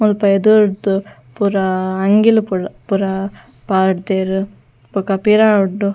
ಮುಲ್ಪ ಎದುರುರ್ದು ಪೂರ ಅಂಗಿಲು ಪುರ ಪುರ ಪಾರ್ದೆರ್ ಬೊಕ ಪಿರವುಡ್ದು.